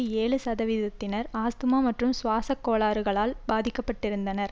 ஏழு சதவீதத்தினர் ஆஸ்த்மா மற்றும் சுவாசக் கோளாறுகளால் பாதிக்க பட்டிருந்தனர்